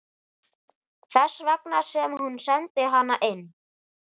Þess vegna sem hún sendi hana inn.